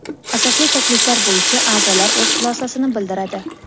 asosli takliflar bo‘yicha aʼzolar o‘z xulosasini bildiradi.